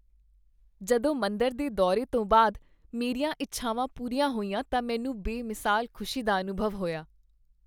ਜਦੋਂ ਮੰਦਰ ਦੇ ਦੌਰੇ ਤੋਂ ਬਾਅਦ ਮੇਰੀਆਂ ਇੱਛਾਵਾਂ ਪੂਰੀਆਂ ਹੋਈਆਂ ਤਾਂ ਮੈਨੂੰ ਬੇਮਿਸਾਲ ਖੁਸ਼ੀ ਦਾ ਅਨੁਭਵ ਹੋਇਆ।